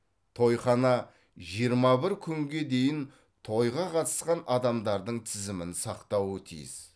тойхана жиырма бір күнге дейін тойға қатысқан адамдардың тізімін сақтауы тиіс